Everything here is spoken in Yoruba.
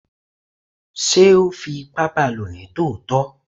sé o fí ipá baló ní tòtọ?